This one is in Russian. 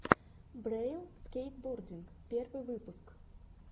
брэйл скейтбординг первый выпуск